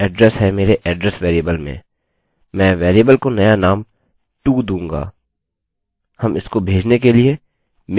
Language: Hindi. अतः यह एड्रेस है मेरे address वेरिएबल में मैं वेरिएबल को नया नाम to दूँगा